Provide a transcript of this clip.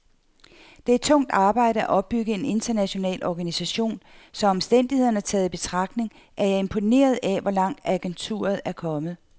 Det er tungt arbejde at opbygge en international organisation, så omstændighederne taget i betragtning er jeg imponeret af, hvor langt agenturet er kommet.